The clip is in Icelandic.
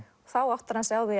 þá áttar hann sig á